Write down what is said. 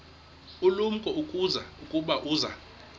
ulumko ukuba uza